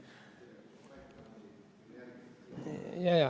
Jah.